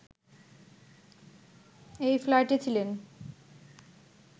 এই ফ্লাইটে ছিলেন